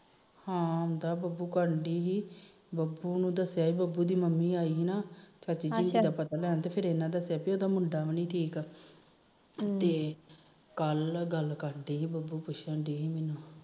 ਹਾ ਆਉਂਦਾ ਬੱਬੂ ਕਰਨਡੀ ਬੱਬੂ ਨੂੰ ਦੱਸਿਆ ਬੱਬੂ ਦੀ ਮੰਮੀ ਆਈ ਤੀ ਨਾ ਅੱਛਾ ਪਤਾ ਲੈਣ ਮੁੰਡਾ ਵੀ ਨੀ ਠੀਕ ਤੇ ਕੱਲ ਗੱਲ ਕਰਨਡੀ ਬੱਬੂ ਪੁਛਣਡੀ